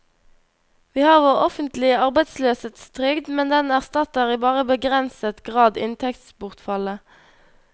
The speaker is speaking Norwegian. Vi har vår offentlige arbeidsløshetstrygd, men den erstatter i bare begrenset grad inntektsbortfallet.